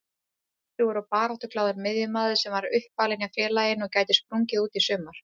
Kröftugur og baráttuglaður miðjumaður sem er uppalinn hjá félaginu og gæti sprungið út í sumar.